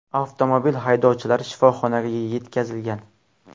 Avtomobil haydovchilari shifoxonaga yetkazilgan.